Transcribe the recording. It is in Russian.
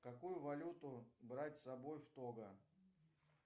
какую валюту брать с собой в того